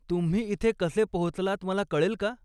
तुम्ही इथे कसे पोहोचलात मला कळेल का?